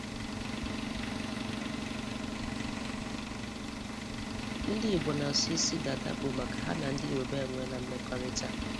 Ndị Igbo n'asọ isi dada bụ maka ha na ndị Yoruba enweela mmekọrịta.